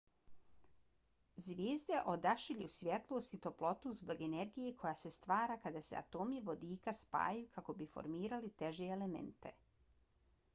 zvijezde odašilju svjetlost i toplotu zbog energije koja se stvara kada se atomi vodika spajaju kako bi formirali teže elemente